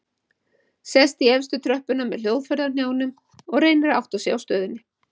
Sest í efstu tröppuna með hljóðfærið á hnjánum og reynir að átta sig á stöðunni.